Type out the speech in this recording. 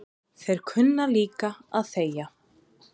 Þeir kunna líka að þegja